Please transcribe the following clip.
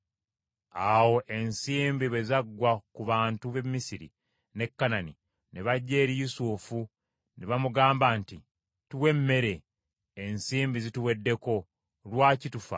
Awo ensimbi bwe zaggwa ku bantu b’e Misiri ne Kanani ne bajja eri Yusufu ne bamugamba nti, “Tuwe emmere. Ensimbi zituweddeko. Lwaki tufa?”